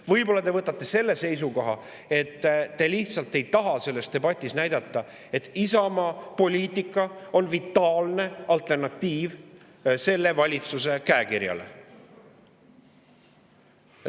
Võib-olla te võtate selle seisukoha, et te lihtsalt ei taha selles debatis näidata, et Isamaa poliitika on vitaalne alternatiiv valitsuse käekirjale.